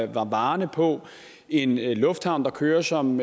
varerne på en lufthavn der kører som